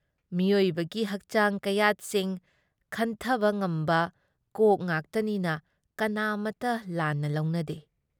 ꯃꯤꯑꯣꯏꯕꯒꯤ ꯍꯛꯆꯥꯡ ꯀꯌꯥꯠꯁꯤꯡ ꯈꯟꯊꯕ ꯉꯝꯕ ꯀꯣꯛ ꯉꯥꯛꯇꯅꯤꯅ ꯀꯅꯥꯃꯠꯇꯅ ꯂꯥꯟꯅ ꯂꯧꯅꯗꯦ ꯫